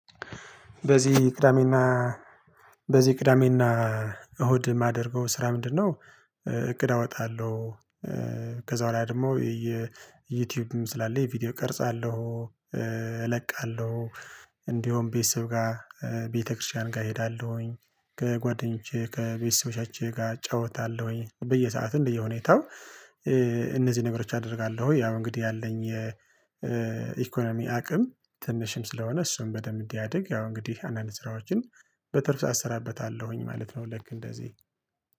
በዚ ቅዳሜና በዚ ቅዳሜና እሁድ ማደርገው ስራ ምንድነው? እቅድ አወጣለው። ከዛ በኋላ ደሞ ዩቲዩብም ስላለኝ ቪዲዮ ቀርጻለው እለቃለው። እንዲውም ቤተሰብ ጋር ቤተክርስቲያን ጋ እሄዳለውኝ ከጓደኞቼ ከቤተሰቦቻችን ጋ እጫውታለውኝ በየሰዓትም እንደየሁኔታው እነዚ ነገሮች አደርጋለው። ያው እንግዲ ያለኝ የኢኮኖሚ አቅም ትንሽም ስለሆነ እሱን በደንብ እንዲያድግ ያው እንግዲህ አንዳንድ ስራዎችን በትርፍ ሰዓት አሰራበታለሁኝ ማለት ነው። ለክ እንደዚ